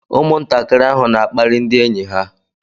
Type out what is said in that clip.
Ụmụntakịrị ahụ na-akparị ndị enyi ha.